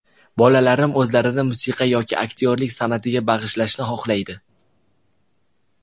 Bolalarim o‘zlarini musiqa yoki aktyorlik san’atiga bag‘ishlashni xohlaydi.